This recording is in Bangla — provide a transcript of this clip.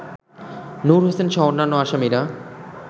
নূর হোসেনসহ অন্যান্য আসামিরা